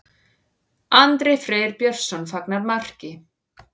Andri Freyr Björnsson fagnar marki.